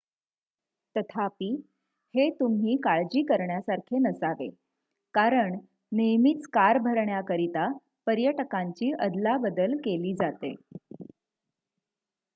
तथापि हे तुम्ही काळजी करण्यासारखे नसावे कारण नेहमीच कार भरण्याकरिता पर्यटकांची अदलाबदल केली जाते